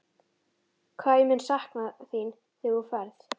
Hvað ég mun sakna þín þegar þú ferð.